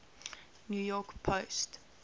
new york post